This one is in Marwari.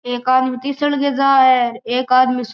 एक आदमी तिसल के जा है एक आदमी --